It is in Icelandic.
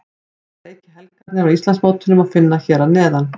Alla leiki helgarinnar á Íslandsmótinu má finna hér að neðan.